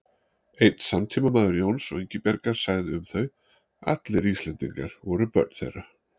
Einn samtímamaður Jóns og Ingibjargar sagði um þau: Allir Íslendingar voru börn þeirra